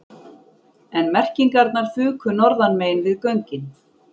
En merkingarnar fuku norðanmegin við göngin